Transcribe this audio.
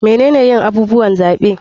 Menene yin abubuwan zaɓe?